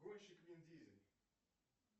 гонщик вин дизель